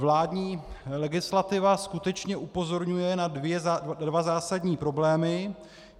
Vládní legislativa skutečně upozorňuje na dva zásadní problémy.